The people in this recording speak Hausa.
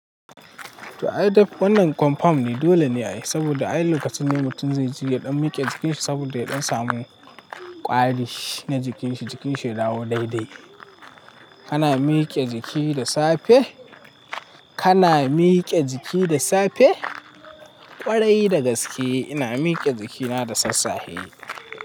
To ai dai wannan confirm ne, dole ne a yi saboda ai lokacin ne mutum zai ji yaɗa miƙe jikinsa saboda ya ɗan samu kwari na jikinshi, jikinshi ya dawo daidai. Kana miƙe jiki da safe, kana miƙe jiki da safe ƙwarai da gaske ina miƙe jikina da sassahe.